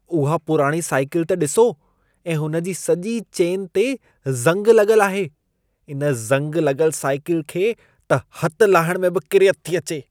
उहा पुराणी साइकिलु त ॾिसो ऐं उनजी सॼी चेन ते ज़ंगु लॻल आहे। इन ज़ंग लॻल साइकिलु खे त हथ लाहिण में बि किरियत थी अचे।